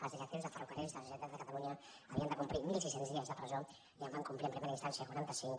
els directius de ferrocarrils de la generalitat de catalunya havien de complir mil sis cents dies de presó i en van complir en primer instància quaranta cinc